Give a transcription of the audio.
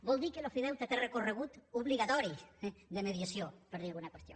vol dir que l’ofideute té recorregut obligatori de mediació per dir alguna qüestió